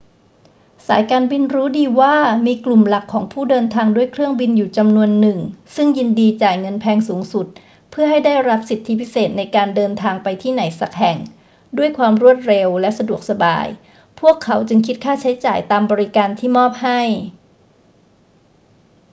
สายการบินรู้ดีว่ามีกลุ่มหลักของผู้เดินทางด้วยเครื่องบินอยู่จำนวนหนึ่งซึ่งยินดีจ่ายเงินแพงสูงสุดเพื่อให้ได้รับสิทธิพิเศษในการเดินทางไปที่ไหนสักแห่งด้วยความรวดเร็วและสะดวกสบาย พวกเขาจึงคิดค่าใช้จ่ายตามบริการที่มอบให้